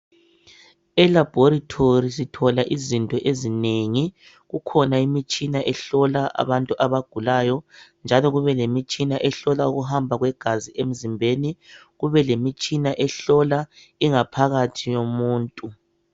Elaboritorie sithola izinto ezinengi kukhona imitshina ehlola abantu abagulayo njalo kube lemitshina ehlola ukuhamba kwegazi emzimbeni kubele mitshina ehlola ingaphakathi yomuntu